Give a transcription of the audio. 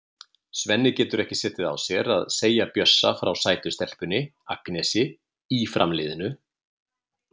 Svenni getur ekki setið á sér að segja Bjössa frá sætu stelpunni, Agnesi, í Fram-liðinu.